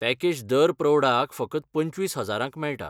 Package दर प्रौढाक फकत पंचवीस हजारांक मेळटा.